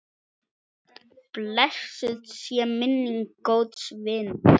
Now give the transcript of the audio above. Blessuð sé minning góðs vinar.